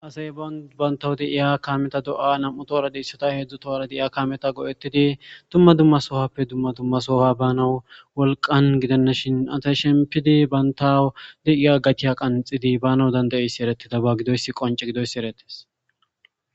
Asay bantaw deiya kaameta do'yaa nam'u toora deyssata heedzdzu toora deiya kameta go'ettidi dumma dumma sohappe dumma dummasoha bana wolqan gidennashin asay shempidi baynta deiya gatiya qanxidi bana dandayissi erettida ba gidoys qonce gidoyssi eretes.